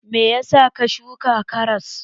Me ya sa ka shuka karas?